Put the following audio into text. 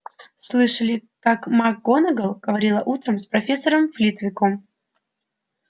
слышали как макгонагалл говорила утром с профессором флитвиком